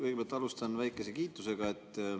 Kõigepealt alustan väikese kiitusega.